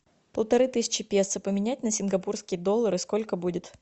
полторы тысячи песо поменять на сингапурские доллары сколько будет